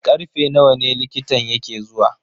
Karfe nawa ne likitan yake zuwa?